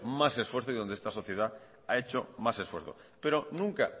más esfuerzos y donde esta sociedad ha hecho más esfuerzo pero nunca